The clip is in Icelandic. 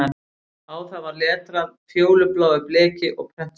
Á það var letrað fjólubláu bleki og prentstöfum